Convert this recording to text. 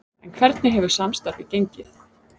En hvernig hefur samstarfið gengið?